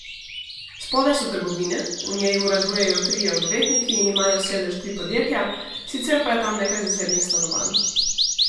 Spodaj so trgovine, v njej uradujejo trije odvetniki in imajo sedež tri podjetja, sicer pa je tam nekaj zasebnih stanovanj.